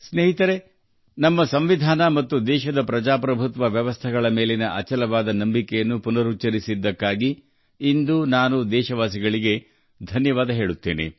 ಸ್ನೇಹಿತರೆ ನಮ್ಮ ಸಂವಿಧಾನ ಮತ್ತು ದೇಶದ ಪ್ರಜಾಪ್ರಭುತ್ವ ವ್ಯವಸ್ಥೆಯಲ್ಲಿ ತಮ್ಮ ಅಚಲವಾದ ನಂಬಿಕೆಯನ್ನು ಪುನರುಚ್ಚರಿಸಿದ್ದಕ್ಕಾಗಿ ನಾನು ಇಂದು ದೇಶವಾಸಿಗಳಿಗೆ ಧನ್ಯವಾದ ಹೇಳುತ್ತೇನೆ